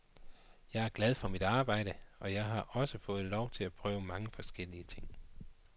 Jeg er glad for mit arbejde, og jeg har også fået lov til at prøve mange forskellige ting.